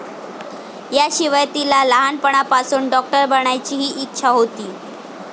याशिवाय तिला लहाणपणापासून डॉक्टर बनण्याचीही इच्छा होती.